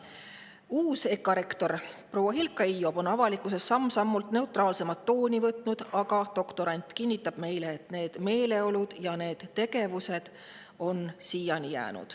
Uus EKA rektor proua Hilkka Hiiop on avalikkuses samm-sammult neutraalsema tooni võtnud, aga doktorant kinnitab meile, et sellised meeleolud ja tegevused on siiani alles.